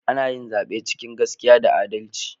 Ana yin zaɓe cikin gaskiya da adalci